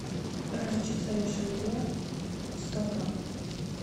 горчица ришелье сто грамм